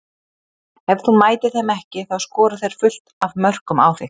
Ef þú mætir þeim ekki þá skora þeir fullt af mörkum á þig.